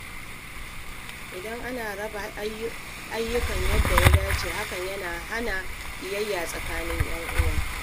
Idan ana raba ayyuka yadda ya dace, hakan yana hana ƙiyayya tsakanin ‘yan’uwa.